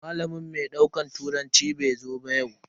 Malamin mai daukar turanci bai zo ba yau.